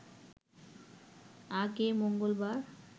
আগে মঙ্গলবার